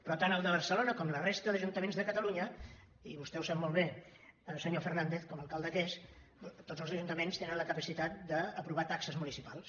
però tant el de barcelona com la resta d’ajuntaments de catalunya i vostè ho sap molt bé senyor fernandez com a alcalde que és tots els ajuntaments tenen la capacitat d’aprovar taxes municipals